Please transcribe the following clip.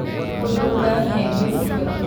Waraabka wuxuu u baahan yahay biyo ku filan.